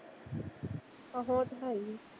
ਆਹੋ ਉਹ ਤਾਂ ਹੈ ਹੀ ਆ।